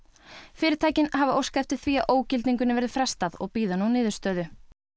fyrirtækin hafa óskað eftir því að ógildingunni verði frestað og bíða nú niðurstöðu